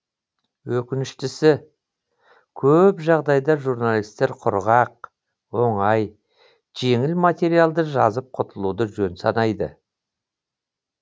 өкініштісі көп жағдайда журналистер құрғақ оңай жеңіл материалды жазып құтылуды жөн санайды